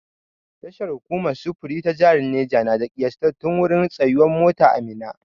Tashar hukumar sufuri ta jahar Neja na da ƙiyastattun wurin tsayuwar mota a Minna.